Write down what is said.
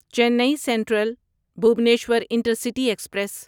چینی central Bhubaneswar intercity express